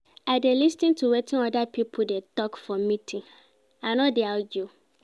I dey lis ten to wetin oda pipo dey tok for meeting, I no dey argue.